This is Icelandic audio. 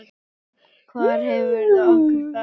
Hvar hefur okkur fatast flugið?